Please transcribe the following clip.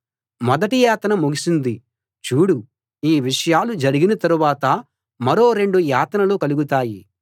మొదటి యాతన ముగిసింది చూడు ఈ విషయాలు జరిగిన తరువాత మరో రెండు యాతనలు కలుగుతాయి